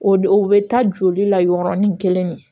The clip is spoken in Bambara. O de o be taa joli la yɔrɔnin kelen de